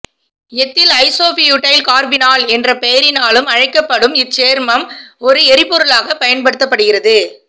ethyl isobutyl carbinol என்ற பெயரினாலும் அழைக்கப்படும் இச்சேர்மம் ஒரு எரிபொருளாகப் பயன்படுத்தப்படுகிறது